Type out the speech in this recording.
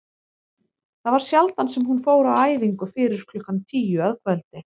Það var sjaldan sem hún fór á æfingu fyrir klukkan tíu að kvöldi.